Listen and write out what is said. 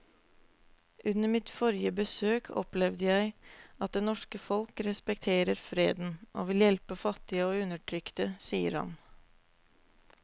Under mitt forrige besøk opplevde jeg at det norske folk respekterer freden og vil hjelpe fattige og undertrykte, sier han.